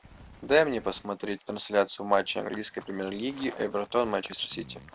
дай мне посмотреть трансляцию матча английской премьер лиги эвертон манчестер сити